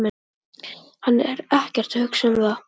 Hann er ekkert að hugsa um það.